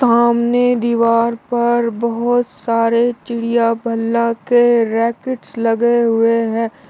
सामने दीवार पर बहोत सारे चिड़िया बल्ला के रैकेट्स लगे हुए हैं।